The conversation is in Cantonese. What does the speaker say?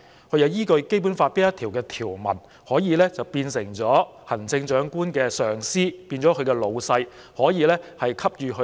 它是依據《基本法》哪一項條文，變成行政長官的上司或老闆，可以給予許可？